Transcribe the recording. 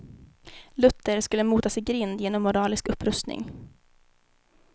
Luther skulle motas i grind genom moralisk upprustning.